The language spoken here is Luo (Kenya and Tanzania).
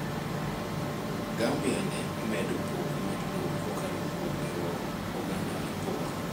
Gambia ne omedo pok mar lowo kokalo kuom riwo oganda e pok.